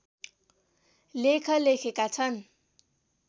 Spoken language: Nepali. लेख लेखेका छन्